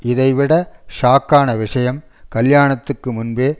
இதை விட ஷாக்கான விஷயம் கல்யாணத்துக்கு முன்பே